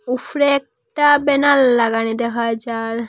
উফরে একটা ব্যানার লাগানি দেহা যার।